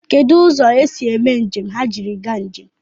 Kedụ ụzọ esi eme njem ha jiri gaa njem?